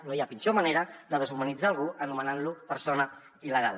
no hi ha pitjor manera de deshumanitzar algú que anomenant lo persona il·legal